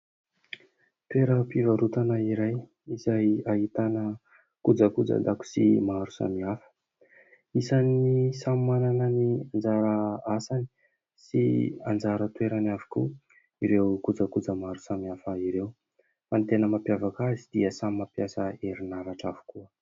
Toeram-pivarotana iray izay ahitana kojakojan-dakozia maro samihafa. Isany samy manana ny anjara asany sy anjara toerany avokoa ireo kojakoja maro samihafa ireo ; ny tena mampiavaka azy dia samy mampiasa herinaratra avokoa.